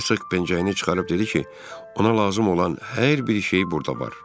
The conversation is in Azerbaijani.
Hersoq pencəyini çıxarıb dedi ki, ona lazım olan hər bir şey burda var.